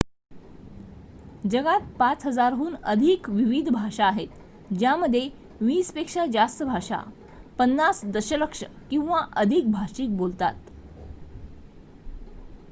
जगात 5,000 हून अधिक विविध भाषा आहेत ज्यामध्ये वीस पेक्षा जास्त भाषा 50 दशलक्ष किंवा अधिक भाषिक बोलतात